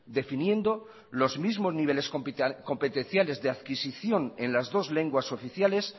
definiendo los mismos niveles competenciales de adquisición en las dos lenguas oficiales